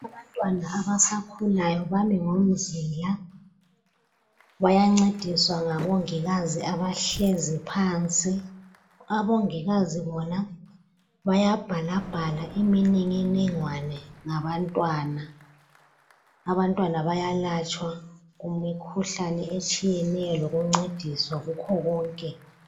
Abantwana abasakhulayo bami ngomzila bayancediswa ngabongikazi abahlezi phansi , abongikazi bona bayabhalabhala imininingwane ngabantwana , abantwana bayalatshwa imikhuhlane etshiyeneyo lokuncediswa kukhona konke